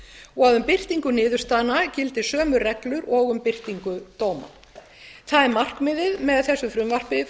og að um birtingu niðurstaðna gildi sömu reglur og um birtingu dóma það er markmiðið með þessu frumvarpi